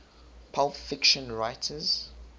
pulp fiction writers